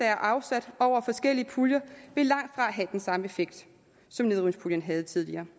er afsat over forskellige puljer vil langtfra have den samme effekt som nedrivningspuljen havde tidligere